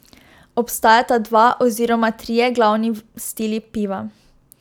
Obstajata dva oziroma trije glavni stili piva.